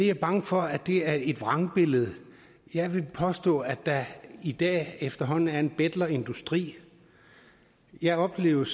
er bange for at det er et vrangbillede jeg vil påstå at der i dag efterhånden er en betlerindustri jeg oplevede